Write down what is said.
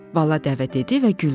Bala dəvə dedi və güldü.